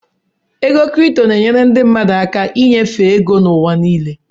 Ego kripto na-enyere ndị mmadụ aka ịnyefe ego n'ụwa niile.